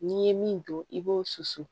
N'i ye min don i b'o susu